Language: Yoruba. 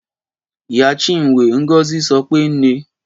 Ìyá Chinwe, Ngozi, sọ pé Nne.